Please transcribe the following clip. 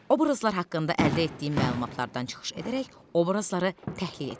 Obrazlar haqqında əldə etdiyin məlumatlardan çıxış edərək obrazları təhlil et.